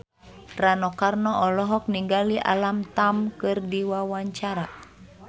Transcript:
Rano Karno olohok ningali Alam Tam keur diwawancara